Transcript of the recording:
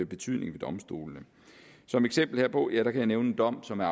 betydning ved domstolene som eksempel herpå kan jeg nævne en dom som er